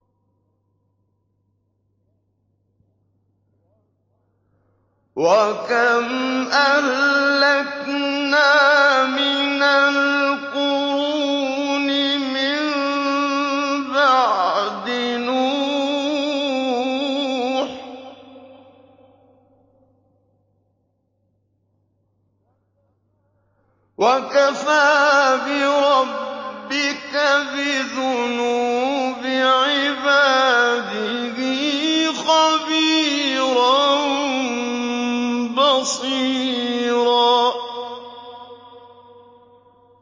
وَكَمْ أَهْلَكْنَا مِنَ الْقُرُونِ مِن بَعْدِ نُوحٍ ۗ وَكَفَىٰ بِرَبِّكَ بِذُنُوبِ عِبَادِهِ خَبِيرًا بَصِيرًا